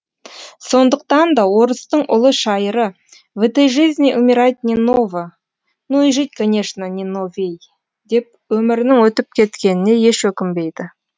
сондықтан да орыстың ұлы шайыры в этой жизни умирать не ново но и жить конечно не новей деп өмірінің өтіп кеткеніне еш өкінбейді